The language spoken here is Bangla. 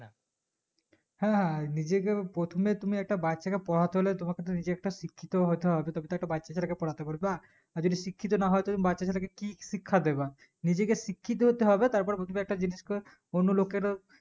হ্যাঁ হ্যাঁ নিজেকেও প্রথমে তুমি একটা বাচ্চাকে পড়াতে হলে তোমাকে তো নিজে একটা শিক্ষিত হতে হবে তবেতো একটা বাচ্চাছেলে কে পড়াতে পারবা আর যদি শিক্ষিত না হয় তুমি বাচ্চাছেলেকে কি শিক্ষা দেব নিজেকে শিক্ষিত হতে তারপর বুজবে একটা জিনিস ক অন্য লোককে তো